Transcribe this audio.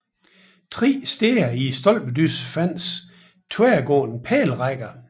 Tre steder i stolpedyssen fandtes tværgående pælerækker